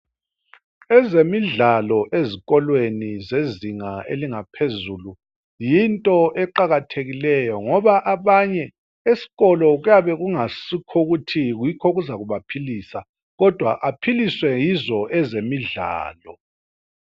Ezemidlalo ezikolweni zezinga elingaphezulu yinto eqakathekileyo ngoba abanye eskolo kuyabe ngungayiskho ukuthi yikho okuzabaphilisa kodwa aphiliswe yizo ezemidlalo.